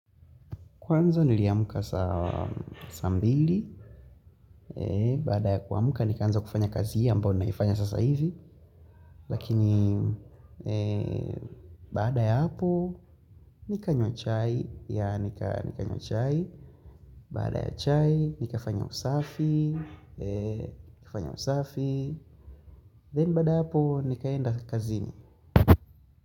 Kwanza niliamka saa mbili, baada ya kuamka nikaanza kufanya kazi hii ambayo ninaifanya sasa hivi, lakini baada ya hapo nikanywa chai, nikanywa chai, baada ya chai nikafanya usafi, nikafanya usafi, then baada ya hapo nikaenda kazini.